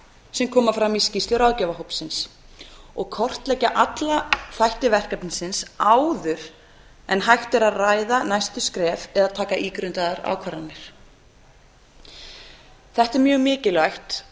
sem koma fram í skýrslu ráðgjafarhópsins og kortleggja alla þætti verkefnisins áður en hægt er að ræða næstu skref eða taka ígrundaðar ákvarðanir þetta er mjög mikilvægt